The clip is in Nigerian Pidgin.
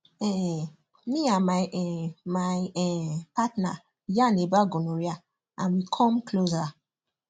um me and my um my um partner yarn about gonorrhea and we come closer